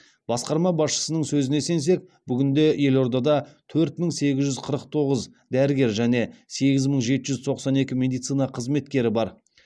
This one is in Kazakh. басқарма басшысының сөзіне сенсек бүгінде елордада төрт мың сегіз жүз қырық тоғыз дәрігер және сегіз мың жеті жүз тоқсан екі медицина қызметкері бар